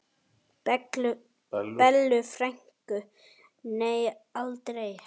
Bellu frænku, nei aldrei.